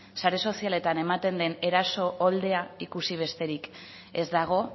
sare sozialetan ematen den eraso ikusi besterik ez dago